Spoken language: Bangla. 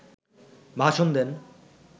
ভাষণ দেন